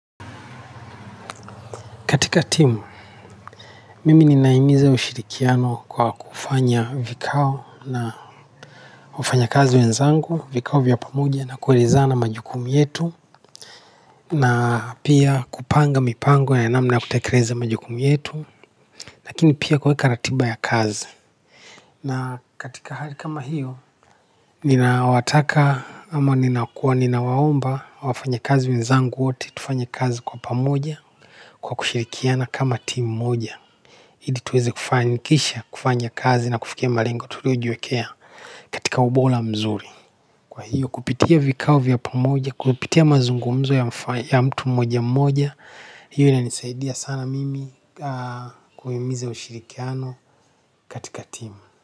Katika timu, mimi ninahimiza ushirikiano kwa kufanya vikao na wafanya kazi wenzangu, vikao vya pamoja na kuelezana majukumu yetu na pia kupanga mipango ya namna kutekereze majukumu yetu, lakini pia kwa hika ratiba ya kazi. Na katika hali kama hiyo, ninawataka ama ninakua, ninawaomba wafanyi kazi wenzangu wote, tufanye kazi kwa pamoja kwa kushirikiana kama timu moja. Ili tuweze kufanyikisha, kufanya kazi na kufikia malengo tuliojiwekea katika ubola mzuri. Kwa hiyo kupitia vikao vya pamoja, kupitia mazungumzo ya mtu mmoja mmoja, hiyo ina nisaidia sana mimi kuhimiza ushirikiano katika timu.